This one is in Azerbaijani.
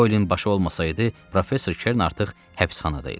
Doyelin başı olmasaydı, professor Kern artıq həbsxanada idi.